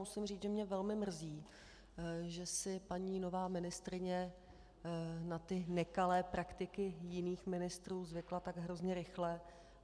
Musím říct, že mě velmi mrzí, že si nová paní ministryně na ty nekalé praktiky jiných ministrů zvykla tak hrozně rychle.